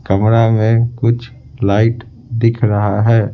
कमरा में कुछ लाइट दिख रहा है।